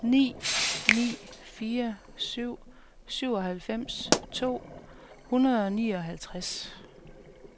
ni ni fire syv syvoghalvfems to hundrede og nioghalvtreds